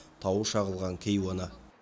тауы шағылған кейуана